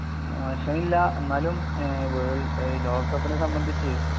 മോശമില്ല എന്നാലും ഏഹ് വേൾഡ് എഹ് ലോകകപ്പിനെ സംബന്ധിച്ച്